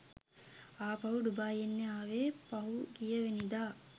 ආපහු ඩුබායි එන්න ආවෙ පහුගියවෙනිදා.